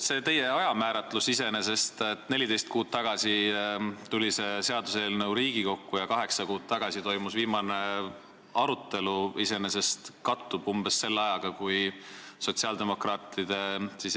No see ajamääratlus, et neliteist kuud tagasi tuli see seaduseelnõu Riigikokku ja kaheksa kuud tagasi toimus viimane arutelu, iseenesest kattub umbes selle ajaga, kui sotsiaaldemokraatide